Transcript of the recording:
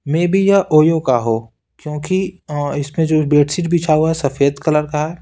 May be यह ओयो का हो क्योंकि इसमें जो बेडशीट बिछा हुआ है सफेद कलर का है।